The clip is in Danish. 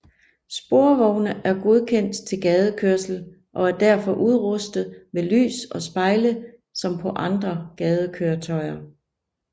Sporvogne er godkendt til gadekørsel og derfor udrustet med lys og spejle som på andre gadekøretøjer